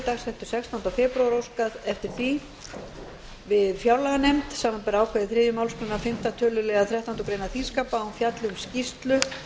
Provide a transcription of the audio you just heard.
dagsettu sextánda febrúar óskað eftir því við fjárlaganefnd samanber ákvæði þriðju málsgrein fimmta töluliðar þrettándu greinar þingskapa að hún fjalli um skýrslu